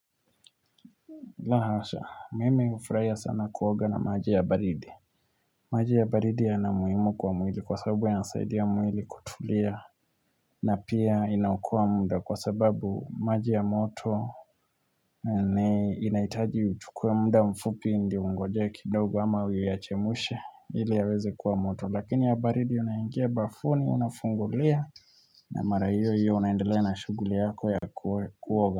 La hasha, mimi hufurahia sana kuoga na maji ya baridi maji ya baridi yana umuhimu kwa mwili kwa sababu yanasaidia mwili kutulia na pia inaokoa muda kwa sababu maji ya moto inahitaji uchukue muda mfupi ndio ungojee kidogo ama uyachemshe ili yaweze kuwa moto, lakini ya baridi unaingia bafuni, unafungulia na mara hiyo hiyo unaendelea na shughuli yako ya kuoga.